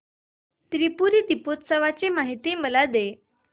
त्रिपुरी दीपोत्सवाची मला माहिती दे